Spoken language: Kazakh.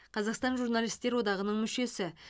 қазақстан журналистер одағының мүшесі